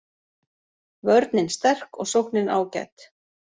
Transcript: Vörnin sterk og sóknin ágæt